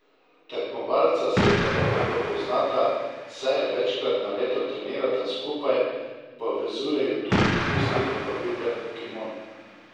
Tekmovalca se zelo dobro poznata, saj večkrat na leto trenirata skupaj, povezuje ju tudi isti dobavitelj kimon.